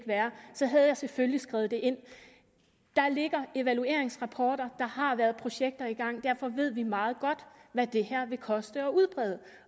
være havde jeg selvfølgelig skrevet det ind der ligger evalueringsrapporter der har været projekter i gang og derfor ved vi meget godt hvad det her vil koste at udbrede